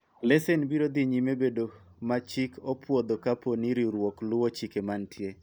lesen biro dhi nyime bedo ma chik opwodho kapo ni riwruok luwo chike mantie